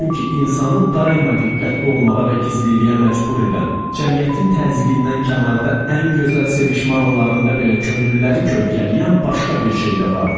Çünki insanı daima diqqətli olmağa və gizliliyə məcbur edən, cəmiyyətin təzyiqindən kənarda ən gözəl sevişmə anlarında belə könülləri kölgələyən başqa bir şey də vardı.